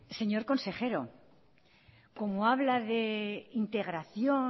señor consejero como habla de integración